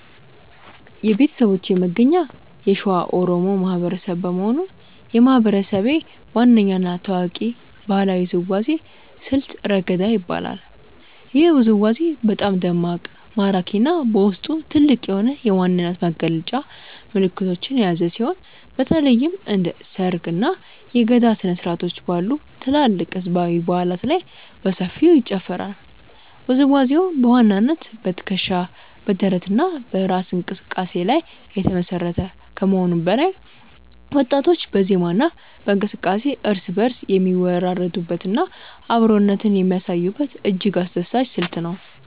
የቤተሰቦቼ መገኛ የሸዋ ኦሮሞ ማህበረሰብ በመሆኑ፣ የማህበረሰቤ ዋነኛ እና ታዋቂው ባህላዊ ውዝዋዜ ስልት "ረገዳ" ይባላል። ይህ ውዝዋዜ በጣም ደማቅ፣ ማራኪ እና በውስጡ ጥልቅ የሆነ የማንነት መግለጫ መልዕክቶችን የያዘ ሲሆን፣ በተለይም እንደ ሰርግ፣ እና የገዳ ስነ-ስርዓቶች ባሉ ትላልቅ ህዝባዊ በዓላት ላይ በሰፊው ይጨፈራል። ውዝዋዜው በዋናነት በትከሻ፣ በደረት እና በእራስ እንቅስቃሴ ላይ የተመሰረተ ከመሆኑም በላይ፣ ወጣቶች በዜማ እና በእንቅስቃሴ እርስ በእርስ የሚወራረዱበት እና አብሮነትን የሚያሳዩበት እጅግ አስደሳች ስልት ነው።